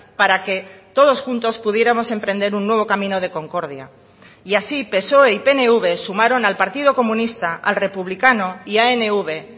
para que todos juntos pudiéramos emprender un nuevo camino de concordia y así psoe y pnv sumaron al partido comunista al republicano y anv